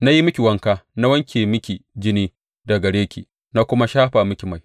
Na yi miki wanka na wanke miki jini daga gare ki na kuma shafa miki mai.